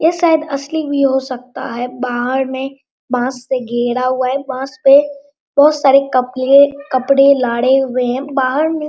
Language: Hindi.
ये शायद असली व्यू हो सकता है बाहर में बांस से घेरा हुआ है। बांस पे बहुत सारे कपड़े कपड़े लाडे हुए हैं बाहर में --